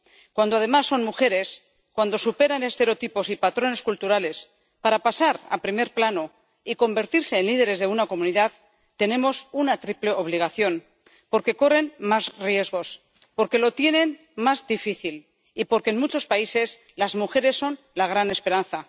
Cuando, además, son mujeres, cuando superan estereotipos y patrones culturales para pasar a primer plano y convertirse en líderes de una comunidad, tenemos una triple obligación porque corren más riesgos, porque lo tienen más difícil y porque en muchos países las mujeres son la gran esperanza.